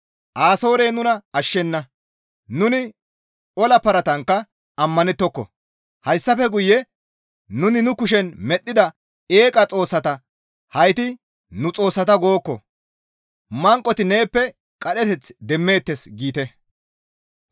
Asoorey nuna ashshenna; nuni ola paratankka ammanettoko; hayssafe guye nuni nu kushen medhdhida eeqa xoossata, ‹Hayti nu xoossata› gookko. Manqoti neeppe qadheteth demmeettes» giite.